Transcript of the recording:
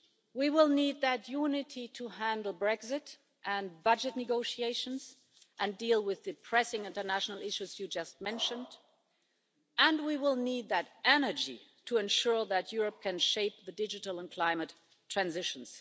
We will need that unity to handle Brexit and budget negotiations and deal with the pressing international issues you just mentioned, and we will need that energy to ensure that Europe can shape the digital and climate transitions.